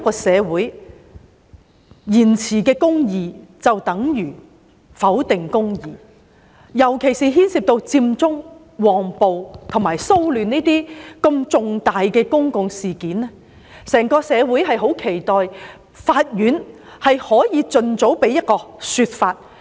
社會延遲彰顯公義，就等於否定公義，尤其是牽涉佔中、旺暴和騷亂等如此重大的公共事件，整個社會十分期待法院能夠盡早提供一個說法。